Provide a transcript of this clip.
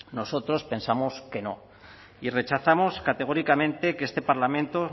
nosotros pensamos que no y rechazamos categóricamente que este parlamento